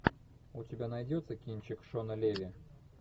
у тебя найдется кинчик шона леви